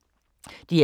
DR K